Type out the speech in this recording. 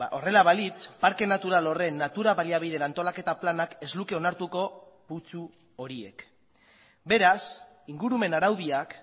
horrela balitz parke natural horren natura baliabideen antolaketa planak ez luke onartuko putzu horiek beraz ingurumen araudiak